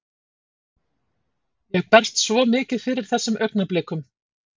Ég berst svo mikið fyrir þessum augnablikum.